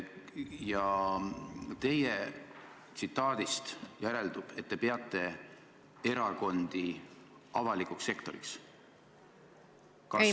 Teie kõneldust järeldub, et te peate erakondi avalikuks sektoriks.